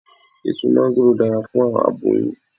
Eso máńgòrò dara fun awọn aboyun